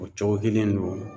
O cogo kelen no